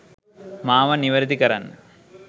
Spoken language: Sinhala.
මාව නිවරදි කරන්න.